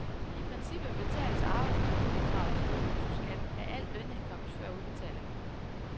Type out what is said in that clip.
I princippet betales arbejdsmarkedsbidraget som en bruttoskat af al lønindkomst før udbetalingen.